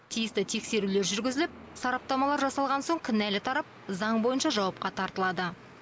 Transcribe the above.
тиісті тексерулер жүргізіліп сараптамалар жасалған соң кінәлі тарап заң бойынша жауапқа тартылады